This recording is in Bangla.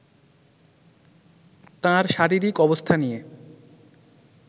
তাঁর শারীরিক অবস্থা নিয়ে